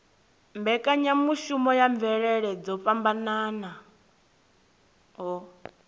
mbekanyamushumo ya mvelele dzo fhambanaho